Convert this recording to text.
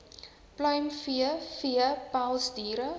pluimvee vee pelsdiere